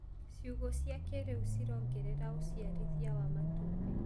Ciugũ cia kĩrĩu cirongerera ũciarithia wa matumbĩ.